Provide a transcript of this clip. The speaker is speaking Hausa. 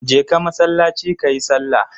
Je ka masallaci kayi sallah!